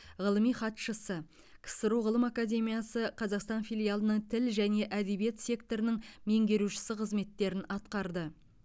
ғылыми хатшысы ксро ғылым академиясы қазақстан филиалының тіл және әдебиет секторының меңгерушісі қызметтерін атқарды